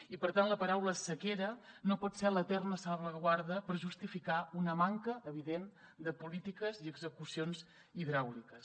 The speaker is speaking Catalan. i per tant la paraula sequera no pot ser l’eterna salvaguarda per justificar una manca evident de polítiques i execucions hidràuliques